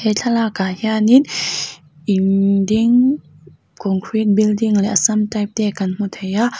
he thlalakah hian in innn ding concrete building leh assam type te kan hmu thei a.